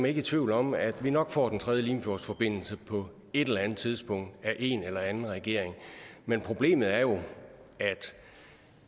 ikke i tvivl om at vi nok får den tredje limfjordsforbindelse på et eller andet tidspunkt af en eller anden regering men problemet er jo at